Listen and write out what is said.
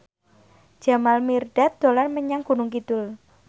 Jamal Mirdad dolan menyang Gunung Kidul